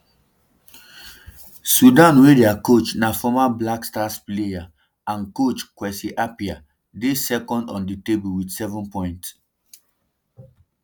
sudan wey dia coach na former black stars player and coach kwesi appiah dey second on di table wit seven points